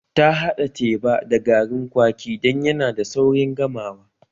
Ta haɗa teba da garin kwaki dan yana da saurin gamawa